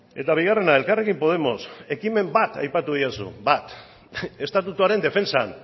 eta bigarrena elkarrekin podemos ekimen bat aipatu didazu bat estatutuaren defentsan